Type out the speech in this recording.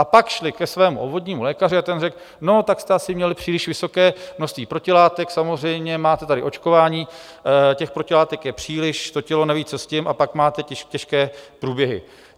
A pak šli ke svému obvodnímu lékaři a ten řekl: No tak jste asi měli příliš vysoké množství protilátek, samozřejmě, máte tady očkování, těch protilátek je příliš, to tělo neví, co s tím, a pak máte těžké průběhy.